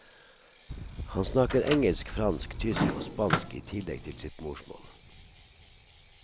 Han snakker engelsk, fransk, tysk og spansk i tillegg til sitt morsmål.